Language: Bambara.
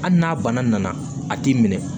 Hali n'a bana nana a t'i minɛ